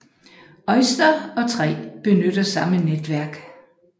OiSTER og 3 benytter samme netværk